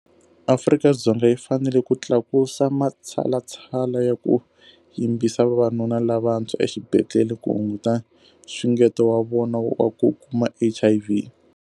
Afrika-Dzonga yi fanele ku tlakusa matshalatshala ya ku yimbisa vavanuna lavantshwa exibedhlele ku hunguta nxungeto wa vona wa ku kuma HIV.